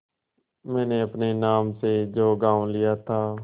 मैंने अपने नाम से जो गॉँव लिया था